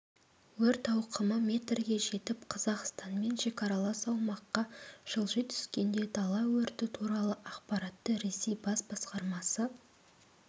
өрт ауқымы метрге жетіп қазақстанмен шекаралас аумаққа жылжи түскенде дала өрті туралы ақпаратты ресей бас басқармасы